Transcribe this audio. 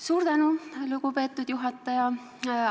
Suur tänu, lugupeetud juhataja!